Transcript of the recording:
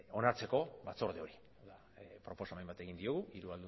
onartzeko batzorde hori proposamen bat egin diogu hiru